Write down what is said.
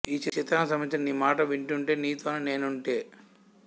ఈ చిత్రానికి సంబంధించిన నీ మాటే వింటుంటే నీతోనే నేనుంటే